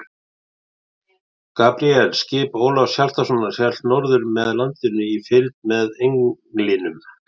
Gabríel, skip Ólafs Hjaltasonar, hélt norður með landinu í fylgd með Englinum.